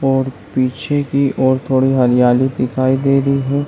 और पीछे कि और थोड़ी हरयाली दिखाई दे रही हैं।